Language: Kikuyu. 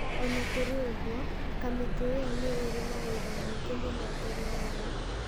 O na kũrĩ ũguo, kamĩtĩ ĩyo nĩ ĩrĩ na wĩra mũingĩ mũno mbere wayo.